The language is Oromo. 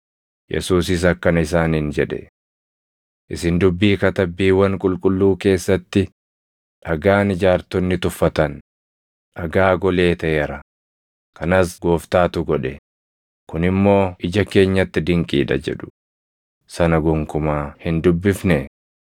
Yesuusis akkana isaaniin jedhe; “Isin dubbii Katabbiiwwan Qulqulluu keessatti, “ ‘Dhagaan ijaartonni tuffatan, dhagaa golee taʼeera; kanas Gooftaatu godhe; kun immoo ija keenyatti dinqii dha’ + 21:42 \+xt Far 118:22,23\+xt* jedhu sana gonkumaa hin dubbifnee?